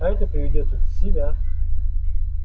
а это приведёт их в себя